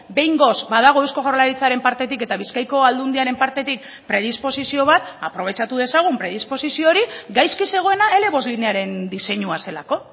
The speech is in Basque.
behingoz badago eusko jaurlaritzaren partetik eta bizkaiko aldundiaren partetik predisposizio bat aprobetxatu dezagun predisposizio hori gaizki zegoena ele bost linearen diseinua zelako